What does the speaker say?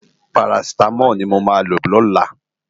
Párásitámòl ni mó má ló lòlá